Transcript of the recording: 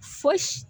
Fosi